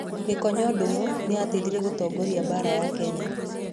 Gikonyo Ndugu nĩ aateithirie gũtongoria Mbaara ya Kenya.